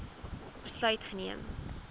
besluit geneem